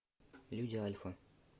люди альфа